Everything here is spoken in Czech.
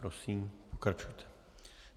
Prosím, pokračujte.